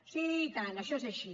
sí i tant això és així